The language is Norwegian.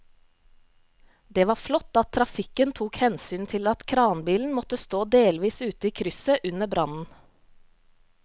Det var flott at trafikken tok hensyn til at kranbilen måtte stå delvis ute i krysset under brannen.